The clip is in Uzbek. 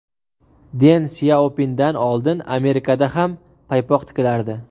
Den Syaopindan oldin Amerikada ham paypoq tikilardi.